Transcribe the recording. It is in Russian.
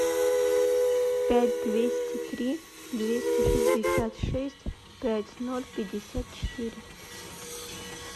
пять двести три двести шестьдесят шесть пять ноль пятьдесят четыре